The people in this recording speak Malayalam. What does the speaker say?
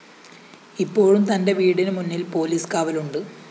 ഇപ്പോഴും തന്റെ വീടിനു മുന്നില്‍ പോലീസ് കാവലുണ്ട്